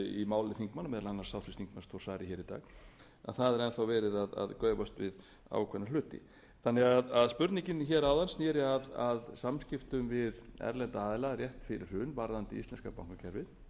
máli þingmanna meðal annars háttvirtur þingmaður þórs bara í dag að það er enn verið að gaufast við ákveðna hluti spurningin áðan sneri að samskiptum við erlenda aðila rétt fyrir hrun varðandi íslenska bankakerfið ég held